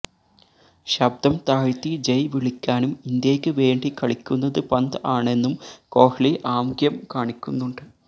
ശബ്ദം താഴ്ത്തി ജയ് വിളിക്കാനും ഇന്ത്യയ്ക്ക് വേണ്ടി കളിക്കുന്നത് പന്ത് ആണെന്നും കോഹ്ലി ആംഗ്യം കാണിക്കുന്നുണ്ട്